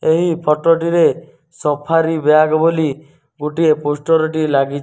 ଏହି ଫୋଟୋ ଟିରେ Safari bag ବୋଲି ଗୋଟିଏ ପୋଷ୍ଟର ଟିଏ ଲାଗି --